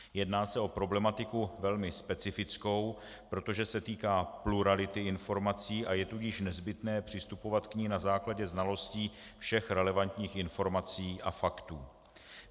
Jedná se o problematiku velmi specifickou, protože se týká plurality informací, a je tudíž nezbytné přistupovat k ní na základě znalostí všech relevantních informací a faktů.